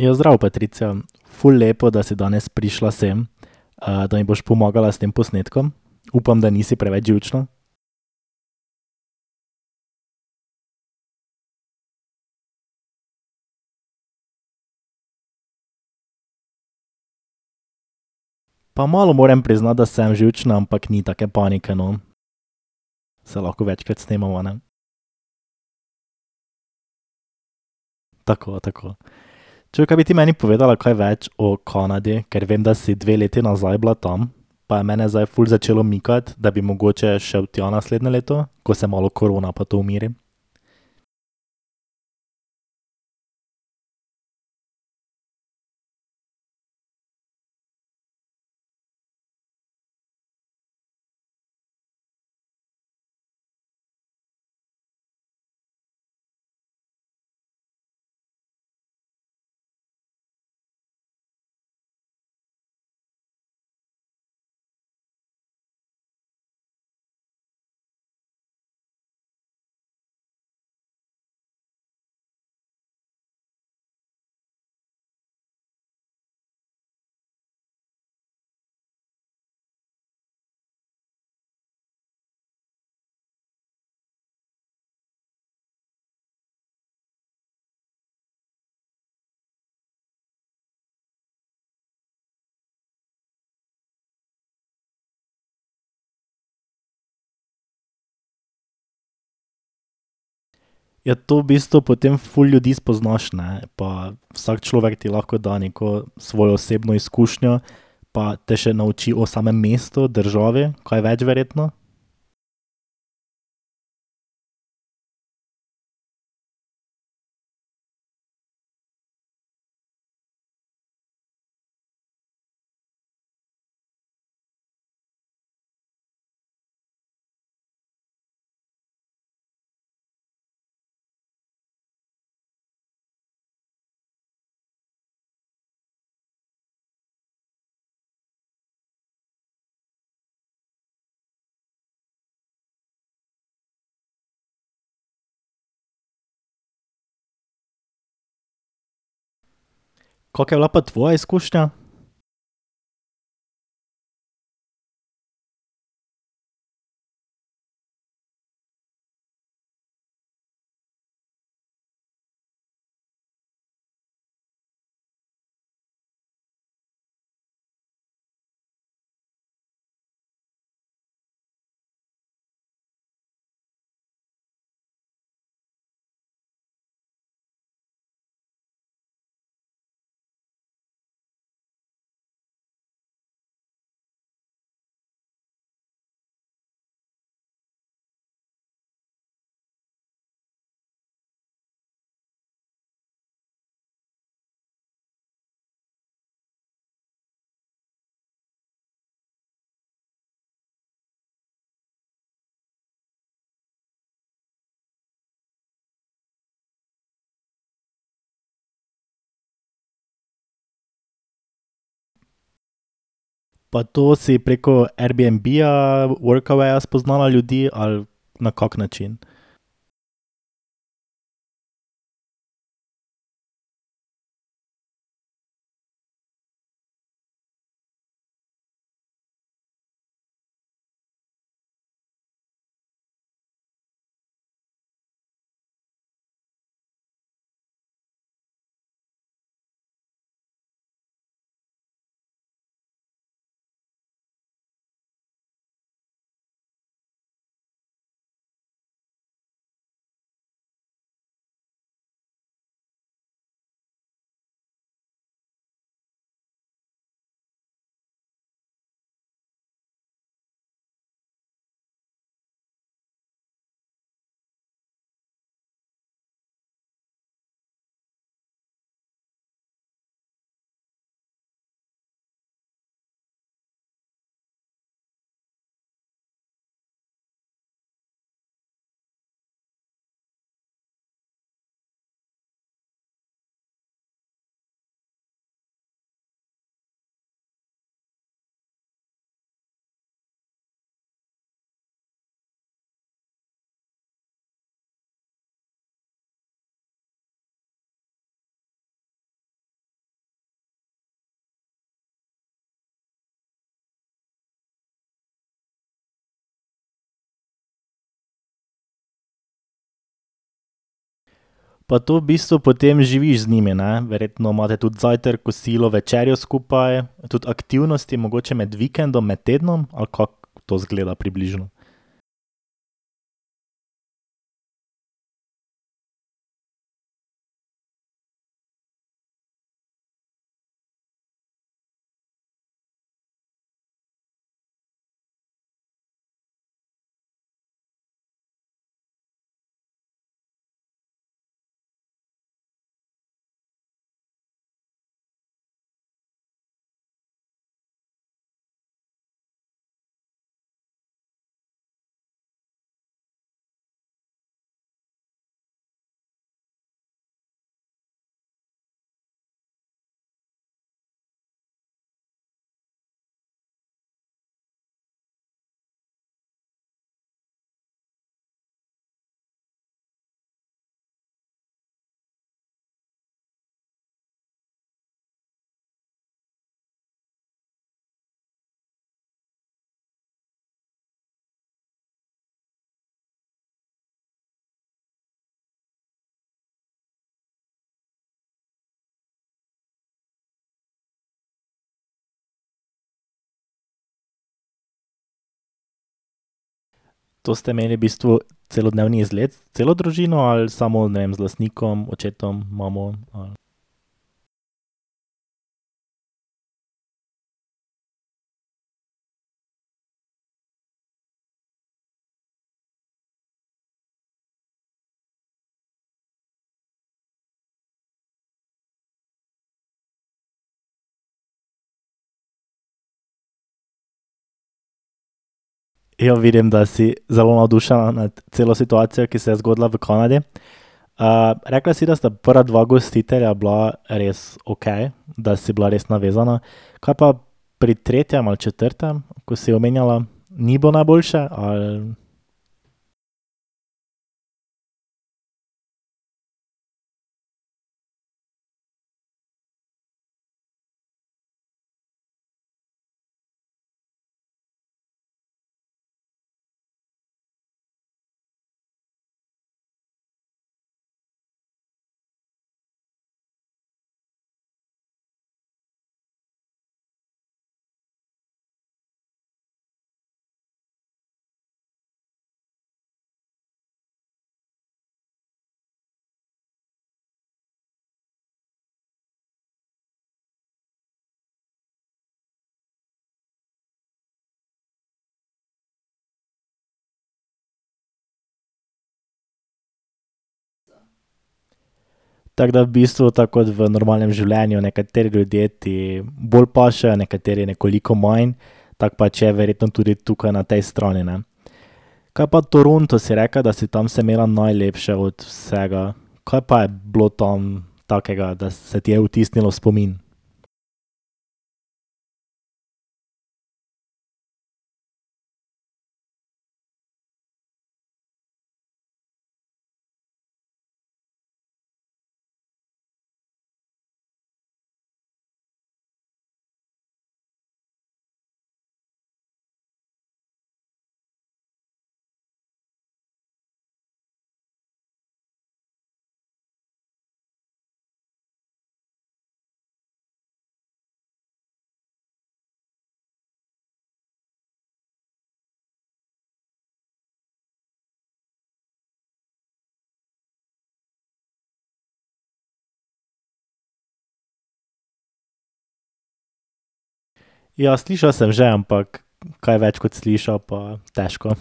Ja, zdravo, Patricija. Ful lepo, da si danes prišla sem. da mi boš pomagala s tem posnetkom. Upam, da nisi preveč živčna. Pa malo moram priznati, da sem živčen, ampak ni take panike, no. Saj lahko večkrat snemava, ne. Tako, tako. Čuj, kaj bi ti meni povedala kaj več o Kanadi? Ker vem, da si dve leti nazaj bila tam, pa je mene zdaj ful začelo mikati, da bi mogoče šel tja naslednje leto, ko se malo korona pa to umiri. Ja, to v bistvu potem ful ljudi spoznaš, ne. Pa vsak človek ti lahko da neko svojo osebno izkušnjo pa te še nauči o samem mestu, državi kaj več, verjetno. Kako je bila pa tvoja izkušnja? Pa to si preko Airbnbja, Workawaya spoznala ljudi ali na kak način? Pa to v bistvu potem živiš z njimi, ne? Verjetno imate tudi zajtrk, kosilo, večerjo skupaj, tudi aktivnosti, mogoče med vikendom, med tednom, ali kako to izgleda približno? To ste imeli v bistvu celodnevni izlet s celo družino ali samo, ne vem, z lastnikom, očetom, imamo, ali? Ja, vidim, da si zelo navdušena nad celo situacijo, ki se je zgodila v Kanadi. rekla si, da sta prva dva gostitelja bila res okej, da si bila res navezana. Kaj pa pri tretjem ali četrtem, ko si omenjala? Ni bilo najboljše, ali? Tako da v bistvu, tako kot v normalnem življenju. Nekateri ljudje ti bolj pašejo, nekateri nekoliko manj. Tako pač je verjetno tudi tukaj na tej strani, ne. Kaj pa Toronto? Si rekla, da si tam se imela najlepše od vsega. Kaj pa je bilo tam takega, da se ti je vtisnilo v spomin? Ja, slišal sem že, ampak kaj več kot slišal pa težko.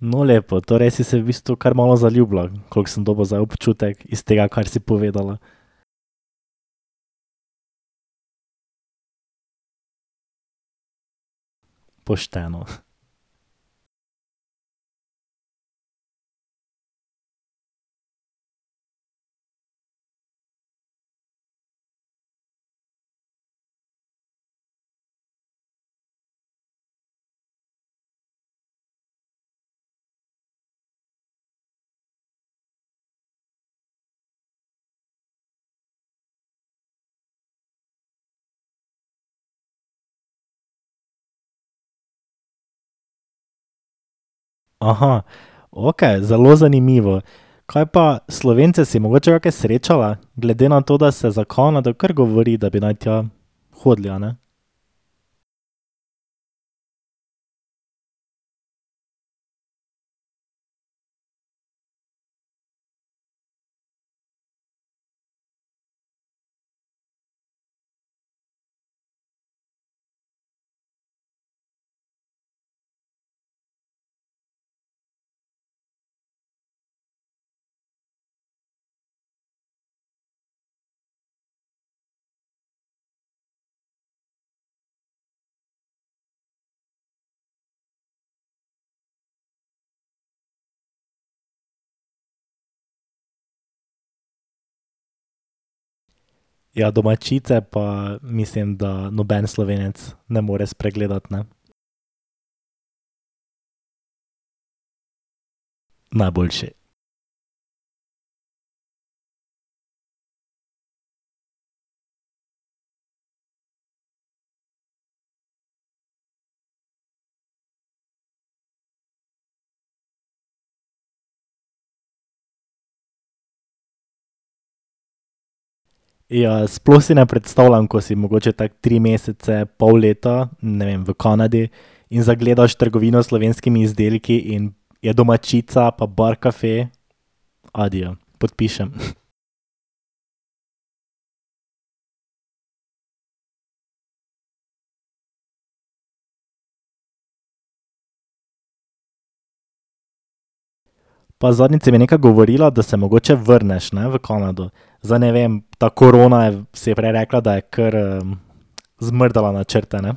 No, lepo. Torej si se v bistvu kar malo zaljubila. Koliko sem dobil zdaj občutek iz tega, kar si povedala. Pošteno. Okej, zelo zanimivo. Kaj pa Slovence si mogoče kake srečala? Glede na to, da se za Kanado kar govori, da bi naj tja hodili, a ne? Ja, Domaćice pa mislim, da noben Slovenec ne more spregledati, ne. Najboljši. Ja, sploh si ne predstavljam, ko si mogoče tako tri mesece, pol leta, ne vem, v Kanadi, in zagledaš trgovino s slovenskimi izdelki in je Domaćica pa Barcaffe. Adijo. Podpišem. Pa zadnjič si mi nekaj govorila, da se mogoče vrneš, ne. V Kanado. Zdaj ne vem, ta korona si prej rekla, da je kar, zmrdala načrte, ne.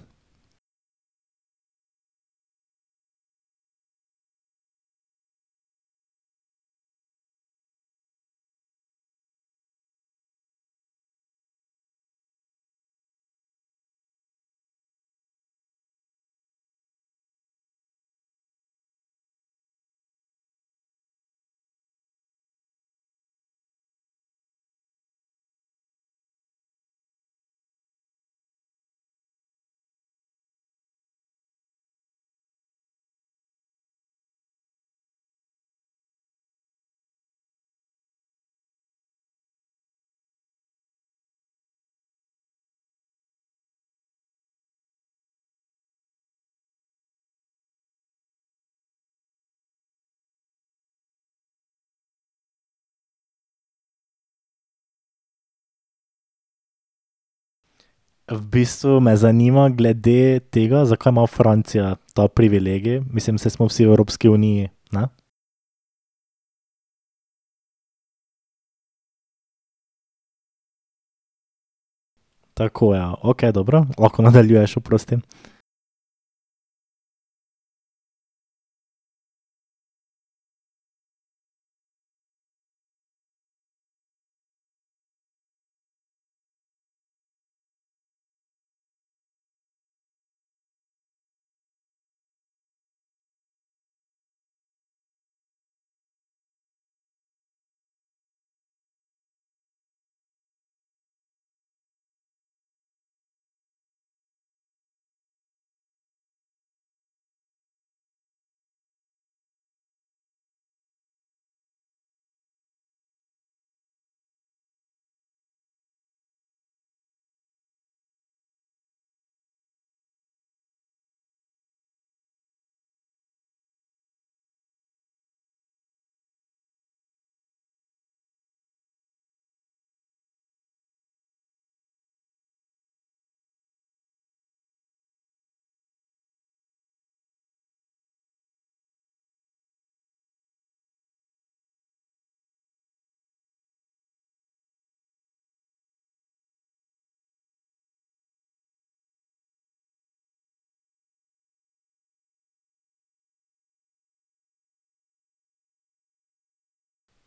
V bistvu me zanima glede tega, zakaj ima Francija ta privilegij. Mislim, saj smo vsi v Evropski uniji, ne? Tako ja. Okej, dobro. Lahko nadaljuješ, oprosti.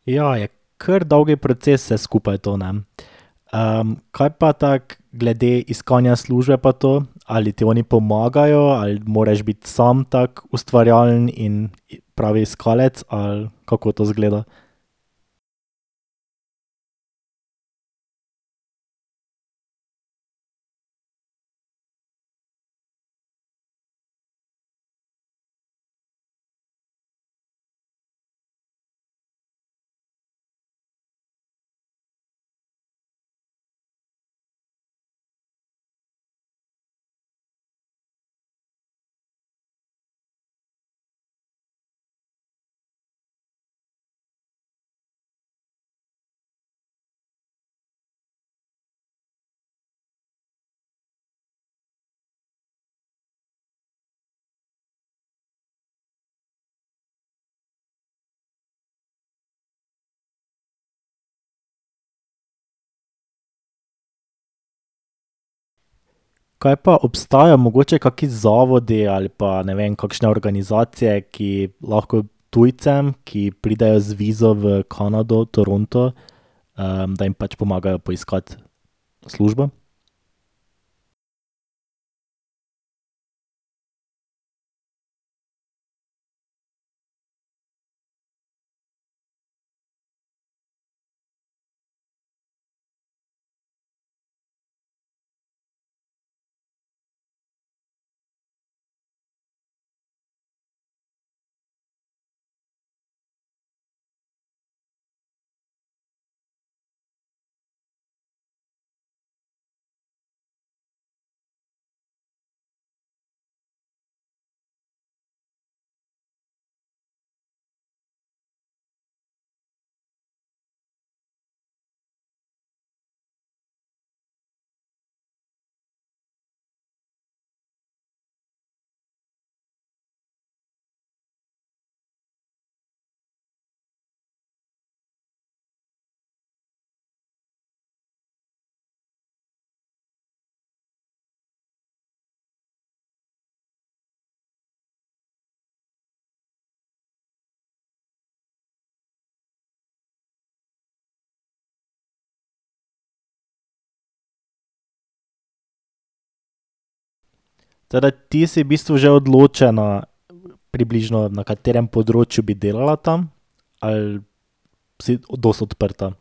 Ja, je kar dolg proces vse skupaj to, ne. kaj pa tako glede iskanja službe pa to? Ali ti oni pomagajo ali moraš biti samo tako ustvarjalen in pravi iskalec ali kako to izgleda? Kaj pa obstajajo mogoče kaki zavodi ali pa, ne vem, kakšne organizacije, ki lahko tujcem, ki pridejo z vizo v Kanado, Toronto, da jim pač pomagajo poiskati službo? Torej, ti si v bistvu že odločena približno, na katerem področju bi delala tam, ali si dosti odprta?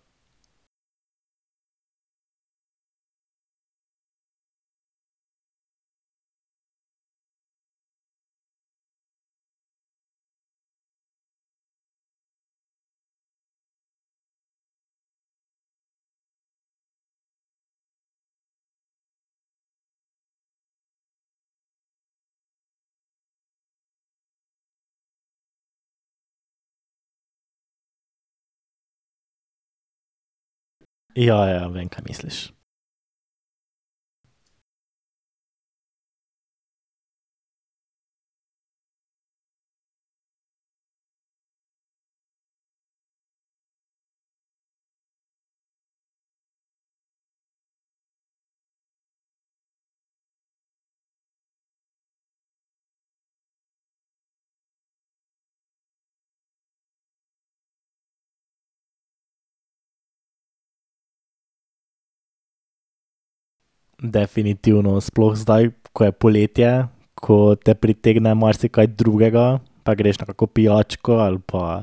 Ja, ja. Vem, kaj misliš. Definitivno. Sploh zdaj, ko je poletje, ko te pritegne marsikaj drugega. Da greš na kako pijačko ali pa,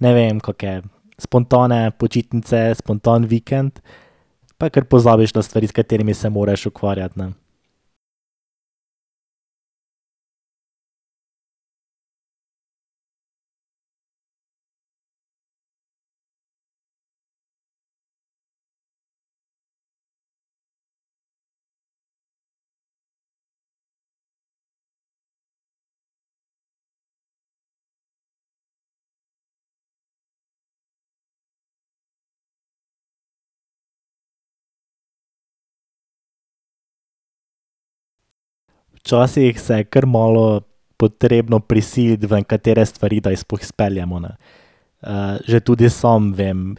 ne vem, kake spontane počitnice, spontan vikend. Pa kar pozabiš na stvari, s katerimi se moraš ukvarjati, ne. Včasih se je kar malo potrebno prisiliti v nekatere stvari, da jih sploh izpeljemo, ne. že tudi sam vem.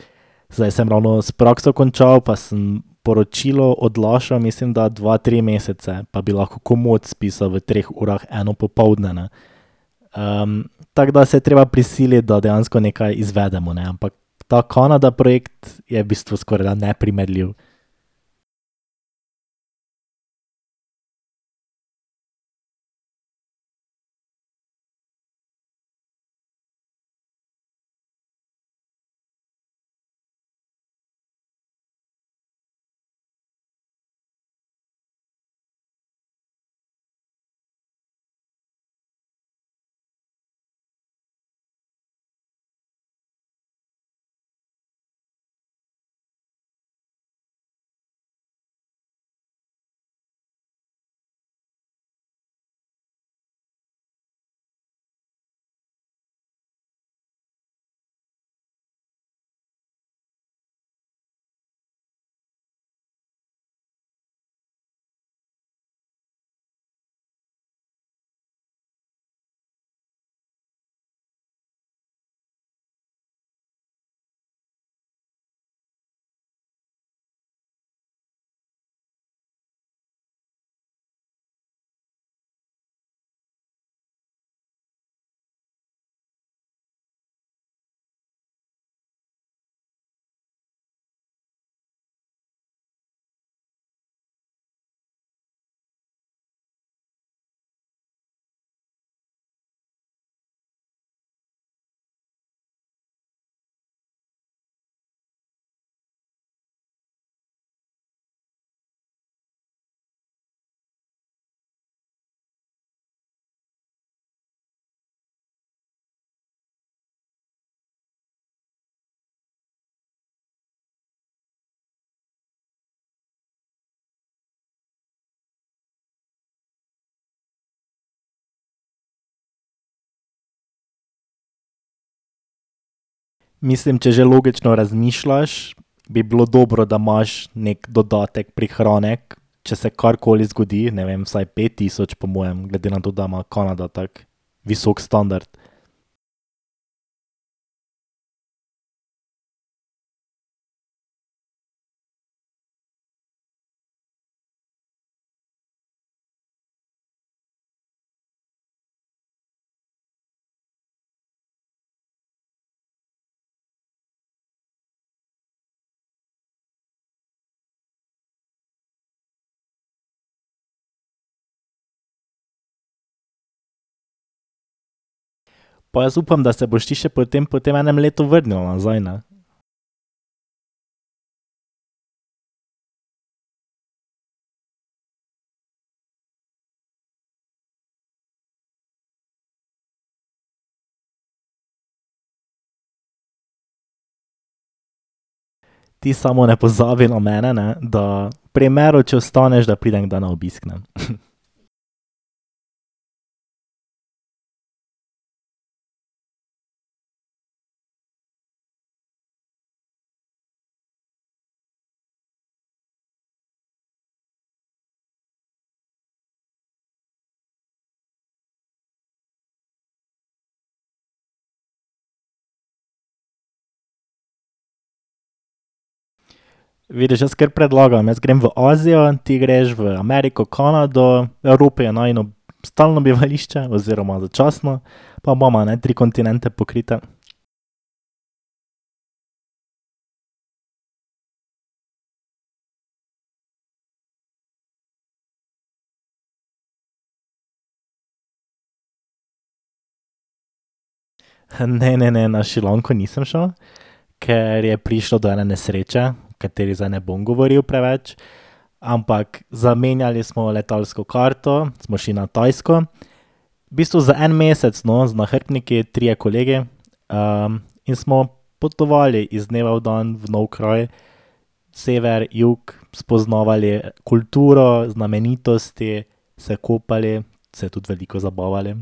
Zdaj sem ravno s prakso končal, pa sem poročilo odlašal, mislim, da dva, tri mesece. Pa bi lahko komot spisal v treh urah eno popoldne, ne. tako da se je treba prisiliti, da dejansko nekaj izvedemo, ne. Ampak ta Kanada projekt je v bistvu skorajda neprimerljiv. Mislim, če že logično razmišljaš, bi bilo dobro, da imaš neki dodatek, prihranek, če se karkoli zgodi. Ne vem, vsaj pet tisoč po mojem, glede na to, da ima Kanada tako visok standard. Pa jaz upam, da se boš ti še potem po tem enem letu vrnila nazaj, ne. Ti samo ne pozabi na mene, ne. Da v primeru, če ostaneš, da pridem kdaj na obisk, ne. Vidiš, jaz kar predlagam. Jaz grem v Azijo, ti greš v Ameriko, Kanado, v Evropi je najino stalno bivališče oziroma začasno. Pa imava, ne, tri kontinente pokrite. Ne, ne, ne. Na Šrilanko nisem šel, ker je prišlo do ene nesreče, o kateri zdaj ne bom govoril preveč. Ampak zamenjali smo letalsko karto, smo šli na Tajsko. V bistvu za en mesec, no. Z nahrbtniki, trije kolegi, in smo potovali iz dneva v dan v nov kraj. Jug, sever, spoznavali kulturo, znamenitosti, se kopali, se tudi veliko zabavali.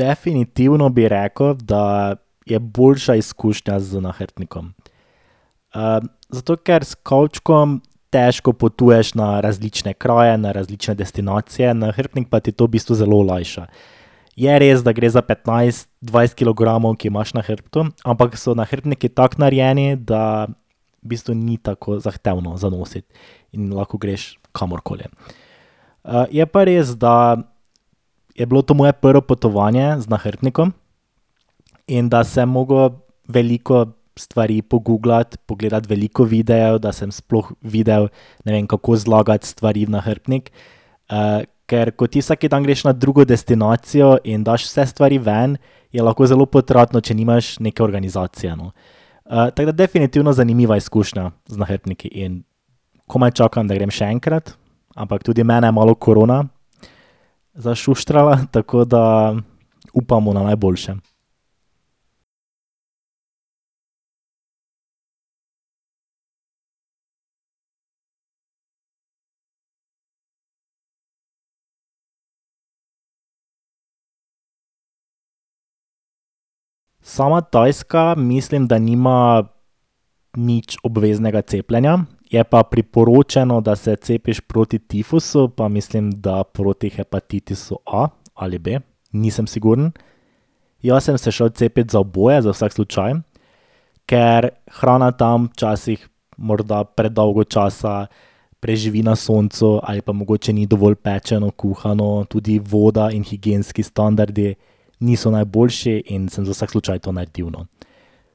Definitivno bi rekel, da je boljša izkušnja z nahrbtnikom. zato ker s kovčkom težko potuješ na različne kraje, na različne destinacije, nahrbtnik pa ti to v bistvu zelo olajša. Je res, da gre za petnajst, dvajset kilogramov, ki imaš na hrbtu, ampak so nahrbtniki tako narejeni, da v bistvu ni tako zahtevno za nositi in lahko greš kamorkoli. je pa res, da je bilo to moje prvo potovanje z nahrbtnikom in da sem mogel veliko stvari poguglati, pogledati veliko videov, da sem sploh videl, ne vem, kako zlagati stvari v nahrbtnik. ker ko ti vsak dan greš na drugo destinacijo in daš vse stvari ven, je lahko zelo potratno, če nimaš neke organizacije, no. tako da definitivno zanimiva izkušnja z nahrbtniki in komaj čakam, da grem še enkrat, ampak tudi mene je malo korona zašuštrala, tako da upamo na najboljše. Sama Tajska mislim, da nima nič obveznega cepljenja, je pa priporočeno, da se cepiš proti tifusu pa mislim da proti hepatitisu A ali B. Nisem siguren. Jaz sem se šel cepit za oboje, za vsak slučaj, ker hrana tam včasih morda predolgo časa preživi na soncu ali pa mogoče ni dovolj pečeno, kuhano. Tudi voda in higienski standardu niso najboljši in sem za vsak slučaj to naredil, no.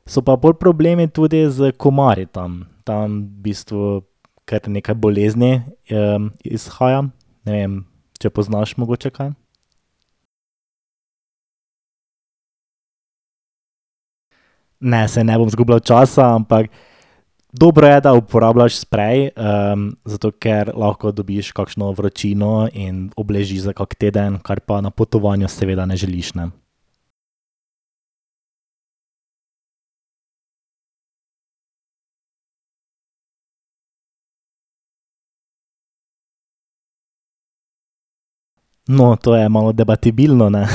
So pa bolj problemi tudi s komarji tam. Tam v bistvu kar nekaj bolezni, izhaja. Ne vem, če poznaš mogoče kaj. Ne, saj ne bom izgubljal časa, ampak dobro je, da uporabljaš sprej, zato ker lahko dobiš kakšno vročino in obležiš za kak teden, kar pa na potovanju seveda ne želiš, ne. No, to je malo debatibilno, ne.